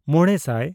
ᱢᱚᱬᱮᱼᱥᱟᱭ